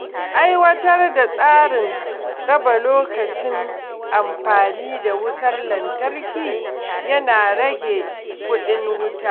Aiwatar da tsarin raba lokacin amfani da wutar lantarki yana rage kuɗin wuta.